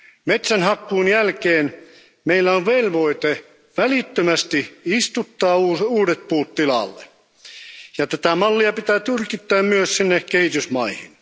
Metsänhakkuun jälkeen meillä on velvoite välittömästi istuttaa uudet puut tilalle, ja tätä mallia pitää tyrkyttää myös sinne kehitysmaihin.